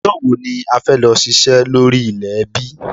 Ọjọ́ wò ní a fẹ́ lọ ṣiṣẹ́ lórí ilẹ̀ ẹbí?